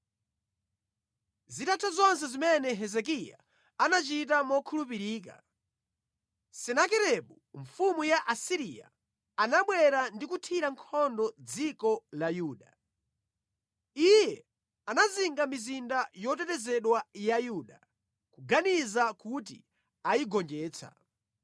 Zitatha zonse zimene Hezekiya anachita mokhulupirika, Senakeribu mfumu ya ku Asiriya anabwera ndi kuthira nkhondo dziko la Yuda. Iye anazinga mizinda yotetezedwa ya Yuda, kuganiza kuti ayigonjetsa.